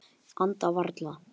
Anda varla.